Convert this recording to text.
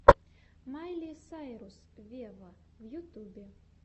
майли сайрус вево в ютубе